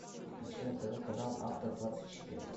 включи на тв канал авто двадцать четыре